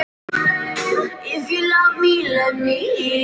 Klukkan er orðin ellefu.